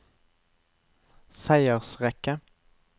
seiersrekke